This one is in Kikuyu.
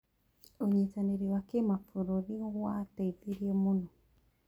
ũnyitanĩri wa kĩmabũrũri wateithirie mũno.